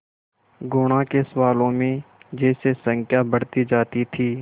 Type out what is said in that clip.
गुणा के सवालों में जैसे संख्या बढ़ती जाती थी